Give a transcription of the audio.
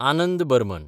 Anand Burman